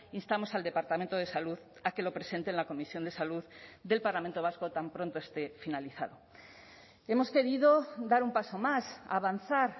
instamos al departamento de salud a que lo presente en la comisión de salud del parlamento vasco tan pronto esté finalizado hemos querido dar un paso más avanzar